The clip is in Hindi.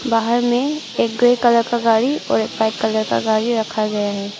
बाहर मे एक ग्रे कलर का गाडी और एक वाइट कलर का गाडी रखा गया है।